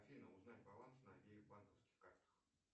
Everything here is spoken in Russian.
афина узнать баланс на обеих банковских картах